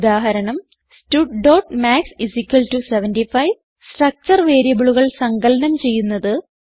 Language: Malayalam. ഉദാഹരണം studമാത്സ് 75 സ്ട്രക്ചർ വേരിയബിളുകൾ സങ്കലനം ചെയ്യുന്നത്